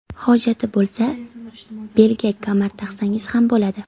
Hojati bo‘lsa, belga kamar taqsangiz ham bo‘ladi.